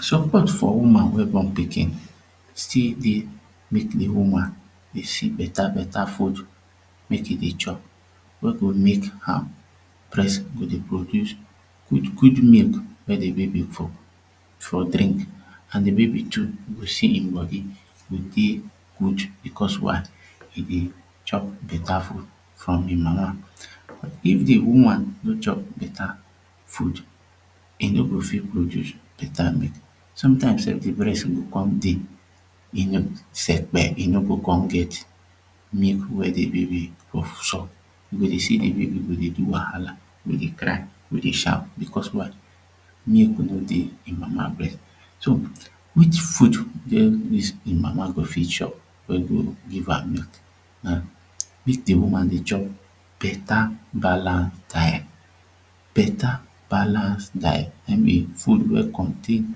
Support for woman wey born pikin still dey mek de woman dey see beta beta food make e dey chop wey go mek her breast go dey produce good good milk mek de baby for drink de baby too go see him body go dey good becos why e dey chop beta food from him mama if de woman no chop beta food e no go fit produce beta milk sometimes sef the breast go come dey sepe e no go come get milk wey the baby go suck you go dey see the baby dey cry dey do whahala wey dey shout becos why will no dey him mama breast so which food wey him mama go fit chop wey go give am milk na mek de woman dey chop beta balance diet beta balance diet I mean de food wey contain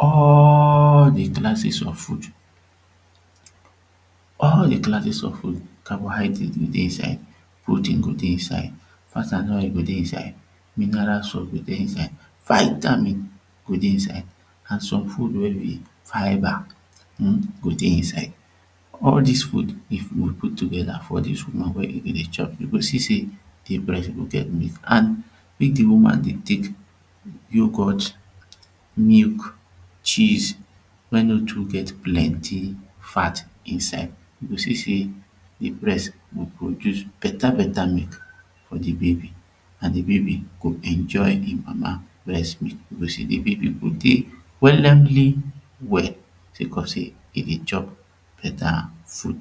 all the classes of food all the classes of food carbohydrate go dey inside protein go dey inside, fat and oil go dey inside mineral salt go dey inside vitamin go dey inside and some food wey be fibre go dey inside all dis food we put togeda for dis woman wey e dey chop you go see say de breast go get milk and mek de woman go tek yoghurt milk cheese wey no too get plenty fat inside e go see say de breast go produce beta beta milk for de baby an de baby go enjoy de mama breast milk people go see say de baby go dey willingly well say cos say e dey chop beta food